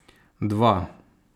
Dva.